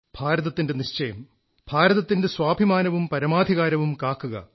ഭാരതത്തിന്റെ നിശ്ചയം ഭാരതത്തിന്റെ സ്വാഭിമാനവും പരമാധികാരവും കാക്കുക